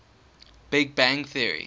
big bang theory